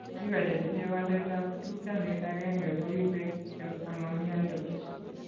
Biko chetinye waletab tupchondit agenge ko ibe kityo amaimiandos.